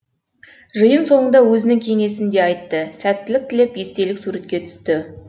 жиын соңында өзінің кеңесін де айтты сәттілік тілеп естелік суретке түсті